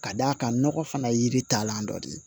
Ka d'a kan nɔgɔ fana ye yiri taalan dɔ de ye